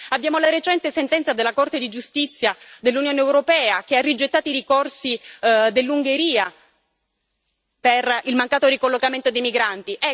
Abbiamo la recente sentenza della Corte di giustizia dell'Unione europea, che ha rigettato i ricorsi dell'Ungheria per il mancato ricollocamento dei migranti.